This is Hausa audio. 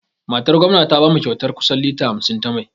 Matar gwamna ta bamu kyautar kusan lita hamsin ta mai.